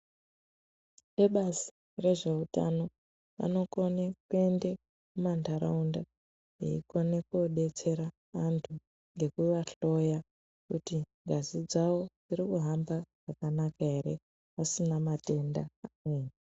Ebazi rezveutano vanokone kuyende kumandaraunda, veyikone kwodetsera vantu, ngekuvahloya kuti ngazi dzavo dziri kuhamba zvakanaka ere, vasina matenda amweni.